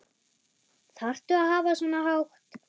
Þarftu að hafa svona hátt?